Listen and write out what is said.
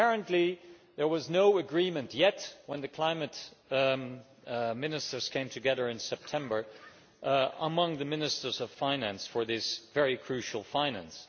Apparently there was no agreement yet, when the climate ministers came together in September, among the Ministers of Finance for this very crucial finance.